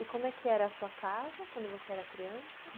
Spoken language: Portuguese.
E como é que era a sua casa quando você era criança?